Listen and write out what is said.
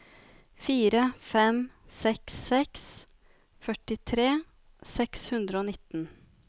fire fem seks seks førtitre seks hundre og nitten